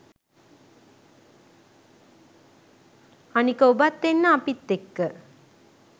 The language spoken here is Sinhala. අනික ඔබත් එන්න අපිත් එක්ක